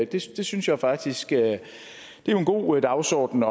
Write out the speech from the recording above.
det synes jeg faktisk er en god dagsorden